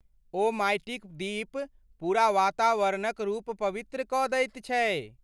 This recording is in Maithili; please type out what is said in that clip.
ओ माटिक दीप पूरा वातावरणक रूप पवित्र कऽ दैत छै।